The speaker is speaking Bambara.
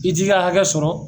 I t'i ka hakɛ sɔrɔ